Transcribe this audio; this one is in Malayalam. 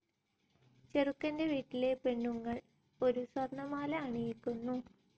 ചെറുക്കൻ്റെ വീട്ടിലെ പെണ്ണുങ്ങൾ ഒരു സ്വർണമാല അണിയിക്കുന്നു.